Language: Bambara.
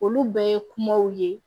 Olu bɛɛ ye kumaw ye